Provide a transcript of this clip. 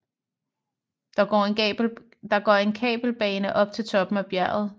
Der går en kabelbane op til toppen af bjerget